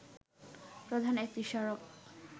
প্রধান একটি সড়ক